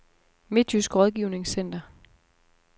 Midtjysk Rådgivnings-Center